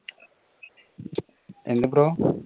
എന്താ bro